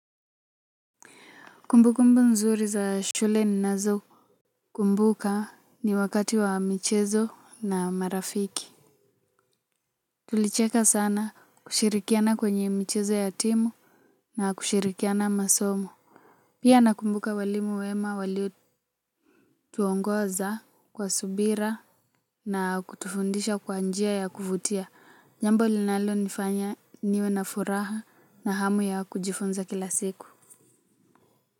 Kumbukumbu nzuri za shule ninazokumbuka ni wakati wa michezo na marafiki. Tulicheka sana kushirikiana kwenye michezo ya timu na kushirikiana masomo. Pia nakumbuka walimu wema walituongoza kwa subira na kutufundisha kwa njia ya kuvutia. Jambo linalonifanya niwe na furaha na hamu ya kujifunza kila siku.